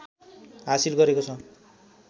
हासिल गरेको छ